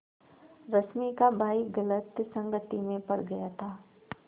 रश्मि का भाई गलत संगति में पड़ गया था